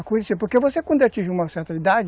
Acontecia, porque você quando atinge uma certa idade,